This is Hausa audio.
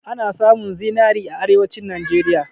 Ana samun zinari a Arewacin Najeriya.